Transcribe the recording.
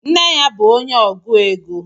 Nne ya bu onye ọgụ égo